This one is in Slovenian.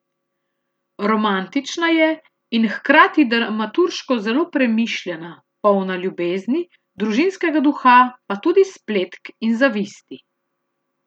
Romantična je in hkrati dramaturško zelo premišljena, polna ljubezni, družinskega duha pa tudi spletk in zavisti.